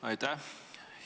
Aitäh!